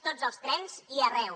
tots els trens i arreu